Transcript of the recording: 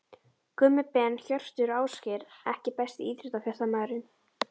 Gummi Ben, Hjörtur og Ásgeir EKKI besti íþróttafréttamaðurinn?